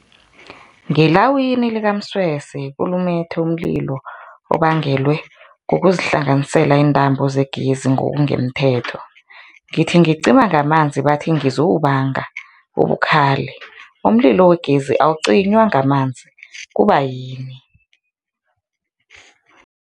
Ngelawini likaMsweswe kulumethe umlilo obangelwe kukuzihlanganisela iintambo zegezi ngokungemthetho, ngithi ngicima ngamanzi bathi ngizowubanga ubukhali, umlilo wegezi awicinywa ngamanzi, kubayini?